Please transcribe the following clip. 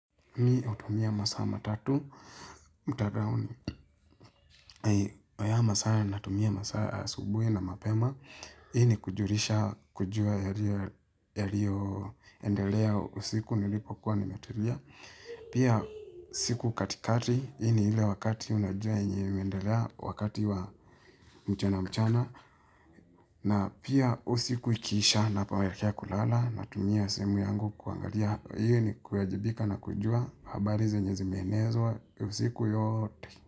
Mi utumia masaa matatu mtadauni hayamasaa natumia masaa asubiu na mapema hii ni kujurisha kujua yalio endelea usiku nilipo kuwa nimetulia pia siku katikati hii ni hile wakati unajua enye imeendelea wakati wa mchana mchana na pia usiku ikiisha napoelekea kulala natumia simu yangu kuangalia hii ni kuajibika na kujua habari zenye zimeenezwa usiku yote.